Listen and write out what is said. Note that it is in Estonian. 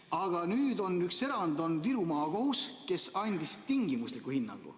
Aga nüüd on üks erand, Viru Maakohus, kes andis tingimusliku hinnangu.